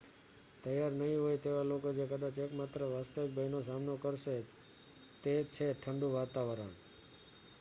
તૈયાર નહીં હોય તેવા લોકો જે કદાચ એકમાત્ર વાસ્તવિક ભયનો સામનો કરશે તે છે ઠંડું વાતાવરણ